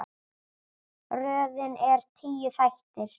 Röðin er tíu þættir.